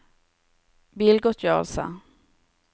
bilgodtgjørelse